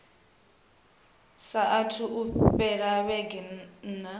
saathu u fhela vhege nṋa